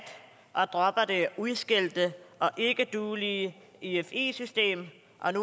og dropper det udskældte og ikkeduelige efi system